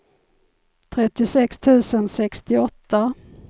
trettiosex tusen sextioåtta